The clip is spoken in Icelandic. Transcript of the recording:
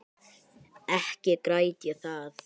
Ekki græt ég það.